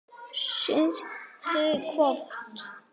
Sindri: Hvort?